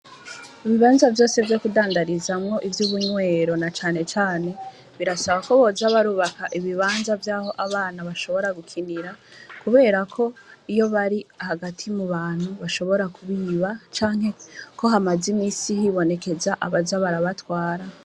Ibibanza vyose vyose kudandarizamwo, ivy'ubunywero na cane cane, birasaba ko boza barubaka ibibanza vy'aho abana bashobora gukinira, kubera ko iyo bari hagati mubantu bashobora kubiba, canke ko hamaze iminsi hibonekeza abaza barabatwara.